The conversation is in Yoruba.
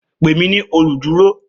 Pè mí ní olùdúró